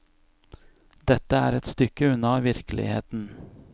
Dette er et stykke unna virkeligheten.